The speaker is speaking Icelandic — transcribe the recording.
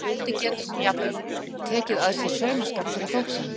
Með þessu móti getur hún jafnvel tekið að sér saumaskap fyrir þóknun.